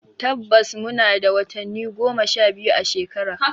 Tabbas muna da watanni goma sha biyu a shekara.